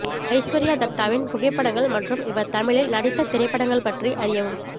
ஐஸ்வர்யா தட்டாவின் புகைப்படங்கள் மற்றும் இவர் தமிழில் நடித்த திரைப்படங்கள் பற்றி அறியவும்